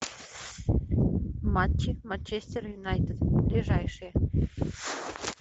матчи манчестер юнайтед ближайшие